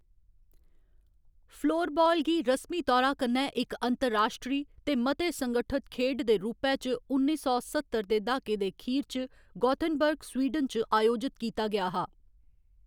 Floorball गी रस्मी तौरा कन्नै इक अंतर्राश्ट्री ते मते संगठित खेड्ड दे रूपै च उन्नी सौ सत्तर दे दहाके दे अखीर च गोथेनबर्ग, स्वीडन च आयोजित कीता गेआ हा।